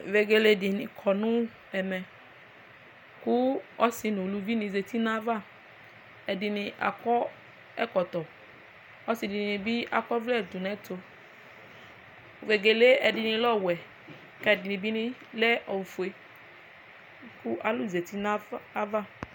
Vegele dini kɔnʋ ɛmɛ kʋ ɔsi nʋ ʋlʋvi ni kɔnʋ ayʋ ava ɛdini akɔ ɛkɔtɔ ɔsi dini bi akɔ ɔwlɛ dʋnʋ ɛtʋ vegele ɛdini lɛ ɔwɛ kʋ ɛdini bi lɛ ofue kʋ alʋ zati nʋ ayʋ ava